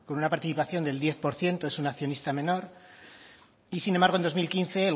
una participación del diez por ciento es un accionista menor y sin embargo en dos mil quince